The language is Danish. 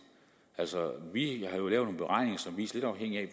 vi har jo lavet en beregning som lidt afhængig af